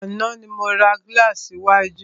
Àná ni mo ra gílàsì iwájú.